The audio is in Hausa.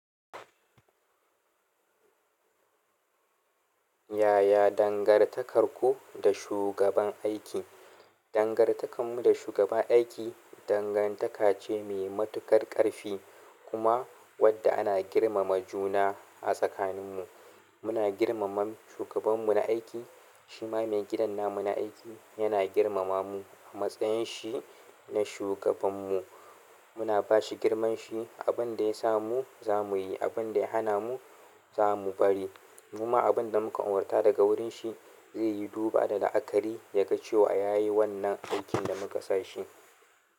Yaya dangantakarku da shugaban aiki? Dangantakanmu da shugaban aiki dangantaka ce mai matuƙar ƙarfi kuma wadda ana girmama juna a tsakaninmu. Muna girmama shugabanmu na aiki, shi ma mai gidan nan muna aiki yana girmama mu a matsayin shi na shugabanmu. Muna ba shi girman shi, abin da ya samu za mu yi, abin da ya hana mu za mu bari. Kuma abin da muka furta daga wurin shi zai yi duba da la'akari ya ga cewa ya yi wannan aikin da muka sa shi.